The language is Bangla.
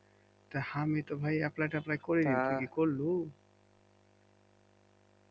তা আমি তো ভাই apply ট্যাপ্লাই করিনি তুই কি করলু?